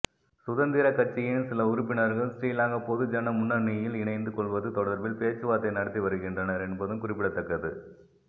சுதந்திரக்கட்சியின் சில உறுப்பினர்கள் ஸ்ரீலங்கா பொதுஜன முன்னணியில் இணைந்து கொள்வது தொடர்பில் பேச்சுவார்த்தை நடத்தி வருகின்றனர் என்பதும் குறிப்பிடத்தக்கது